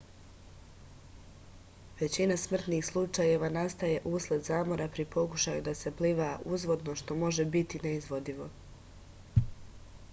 većina smrtnh slučajeva nastaje usled zamora pri pokušaju da se pliva uzvodno što može biti neizvodivo